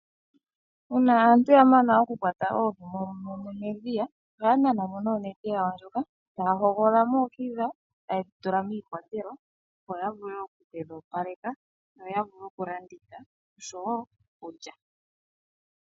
Uuna aantu ya mana okukwata oohi dhawo medhiya ,oha ya nanamo onete yawo ndjoka ta ya hogolola oohi dhawo ta ye dhitula miikwatelwa opo ya vule okudhi opaleka yo ya vule okulanditha oshowo okulya.